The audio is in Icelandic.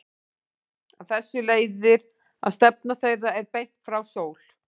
Af þessu leiðir að stefna þeirra er beint frá sól.